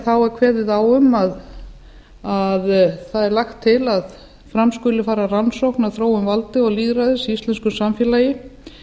er kveðið á um að það er lagt til að fram skuli fara rannsókn á þróun valds og lýðræðis í íslensku samfélagi